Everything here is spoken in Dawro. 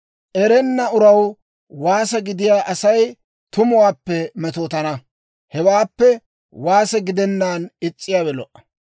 Erenna uraw waase gidiyaa Asay tumuwaappe metootana; hewaappe waase gidennaan is's'iyaawe lo"a.